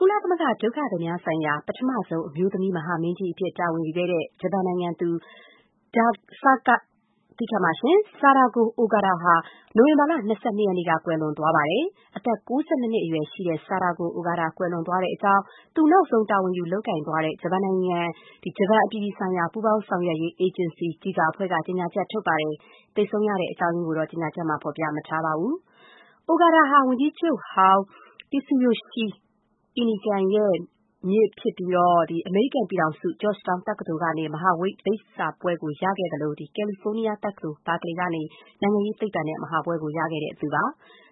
ကုလသမဂ္ဂ ဒုက္ခသည်များဆိုင်ရာ ပထမဆုံးအမျိုးသမီး မဟာမင်းကြီးအဖြစ် တာဝန်ယူခဲ့တဲ့ ဂျပန်နိုင်ငံသူ Sadako Ogata ဟာ အောက်တိုဘာလ ၂၂ ရက်နေ့က ကွယ်လွန်သွားပါတယ်။ အသက် ၉၂ နှစ်အရွယ်ရှိတဲ့ ဆာဒါကို အိုဂါတာ ကွယ်လွန်သွားတဲ့အကြောင်း သူနောက်ဆုံး တာဝန်ယူလုပ်ကိုင်သွားတဲ့ ဂျပန်နိုင်ငံရဲ့ အပြည်ပြည်ဆိုင်ရာ ပူးပေါင်းဆောင်ရွက်ရေး အေဂျင်စီ (JICA) အဖွဲ့က ကြေညာချက်ထုတ်ပြန်ပါတယ်။ သေဆုံးရတဲ့ အကြောင်းအရင်းကိုတော့ ကြေညာချက်မှာ ဖော်ပြမထားပါဘူး။ Ogata ဟာ ဂျပန်ဝန်ကြီးချုပ်ဟောင်း Tsuyoshi Inukai ရဲ့ မြစ်တော်စပ်ပြီး အမေရိကန်ပြည်ထောင်စု Georgetown တက္ကသိုလ်ကနေ မဟာဘွဲ့ရခဲ့သလို ကယ်လီဖိုးနီးယားတက္ကသိုလ် Berkeley ကနေ နိုင်ငံရေးသိပ္ပံနဲ့ ပါရဂူဘွဲ့ရခဲ့တာ ဖြစ်ပါတ